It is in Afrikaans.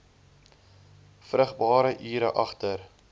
vrugbare ure agter